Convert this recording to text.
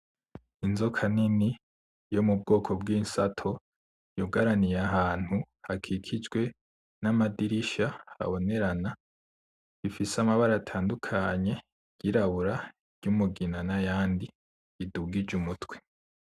Inzoka nini yo mubwoko bw'insato yugaraniye ahantu hakikijwe n'amadirisha abonerana ifise amabara atandukanye iryirabura ; iryumugina n'ayandi idugije umutwe.